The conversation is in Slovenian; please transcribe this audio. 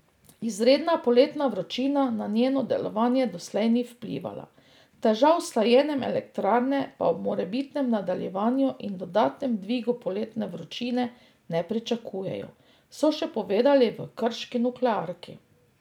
Izredna poletna vročina na njeno delovanje doslej ni vplivala, težav s hlajenjem elektrarne pa ob morebitnem nadaljevanju in dodatnem dvigu poletne vročine ne pričakujejo, so še povedali v krški nuklearki.